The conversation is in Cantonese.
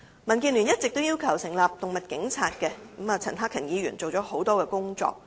民建聯一直要求成立"動物警察"，而陳克勤議員亦已做了很多相關的工作。